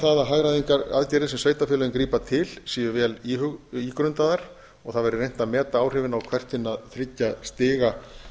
það að hagræðingaraðgerðir sem sveitarfélögin grípa til séu vel ígrundaðar og það væri reynt að meta hver áhrifin á hvert hinna þriggja stiga